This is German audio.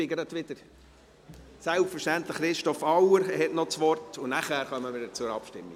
Selbstverständlich hat Christoph Auer noch das Wort, und danach kommen wir zur Abstimmung.